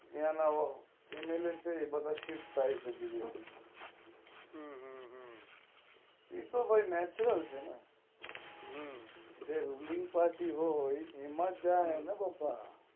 એના એમએલએ છે એ બધા સીફ્ટ થઇ છે ગુજરાત માં એ તો ભાઈ નેચરલ છે ને જે રૂલિંગ પાર્ટી હોઈ એમાં જ જય ને બકા